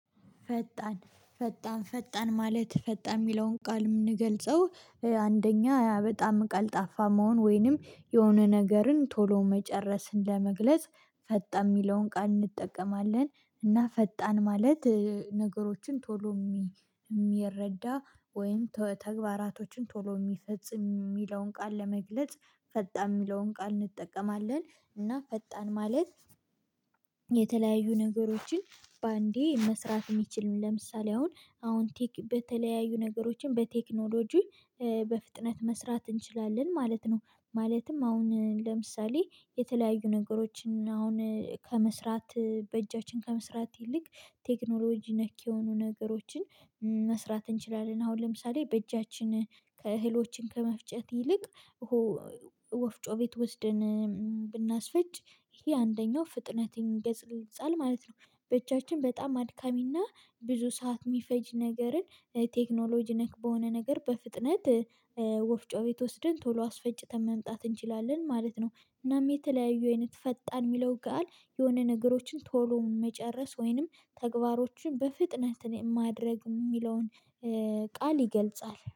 ፈጣን ፈጣን ፈጣን ማለት ፈጣን የሚለውን ቃል የምንገልጸው አንደኛ በጣም ቀልጣፋ መሆን ወይንም የሆነ ነገርን ቶሎ መጨረስን ለመግለጽ። ፈጣን የሚለውን ቃል እንጠቀማለን እና ፈጣን ማለት ነገሮችን ቶሎ የሚረዳ ወይም ተግባራቶችን ቶሎ የሚፈጽም የሚለውን ቃል ለመግለጽ ፈጣን የሚለውን ቃል እንጠቀማለን። እና ፈጣን ማለት የተለያዩ ነገሮችን በአንዴ መስራት የሚችሉ ለምሳሌ አሁን አሁን በተለያዩ ነገሮችን በቴክኖሎጂ በፍጥነት መስራት እንችላለን ማለት ነው። ማለትም አሁን ለምሳሌ የተለያዩ ነገሮችን አሁን ከመስራት በእጃችን ከመስራት ይልቅ ቴክኖሎጂ ነክ የሆኑ ነገሮችን መስራት እንችላለን አሁን ለምሳሌ በእጃችን እህሎችን ከመፍጨት ይልቅ ወፍጮ ቤት ወስደን ብናስፈጭ ይሄ አንደኛው ፍጥነት ይገልጻል ማለት ነው። በእጃችን በጣም አድካሚና ብዙ ሰዓት የሚፈጅ ነገርን ቴክኖሎጂ ነክ በሆነ ነገር በፍጥነት ወፍጮ ቤት ወስደን ቶሎ አስፈጭተን መምጣት እንችላለን ማለት ነው። እናም የተለያዩ አይነት ፈጣን የሚለው ቃል የሆነ ነገሮችን ቶሎ መጨረስ ወይንም ተግባሮችን በፍጥነት ማድረግ የሚለውን ቃል ይገልጻል